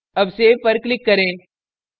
अब सेव पर click करें